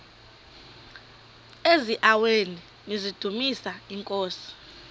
eziaweni nizidumis iinkosi